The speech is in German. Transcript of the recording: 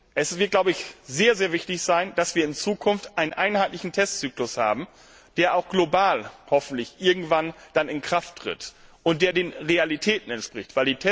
Es wird sehr wichtig sein, dass wir in Zukunft einen einheitlichen Testzyklus haben, der auch global hoffentlich irgendwann in Kraft tritt und der den Realitäten entspricht.